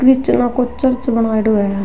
क्रिस्टनो को चर्च बनायेडो है।